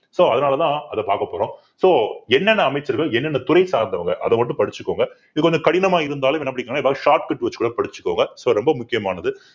so அதனாலதான் அதை பார்க்க போறோம் so என்னென்ன அமைச்சர்கள் என்னென்ன துறை சார்ந்தவங்க அதை மட்டும் படிச்சுக்கோங்க இது கொஞ்சம் கடினமா இருந்தாலும் என்ன பண்ணிகோங்கன்னா ஏதாவது shortcut வச்சு கூட படிச்சுக்கோங்க so ரொம்ப முக்கியமானது.